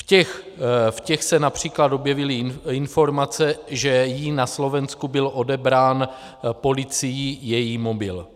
V těch se například objevily informace, že jí na Slovensku byl odebrán policií její mobil.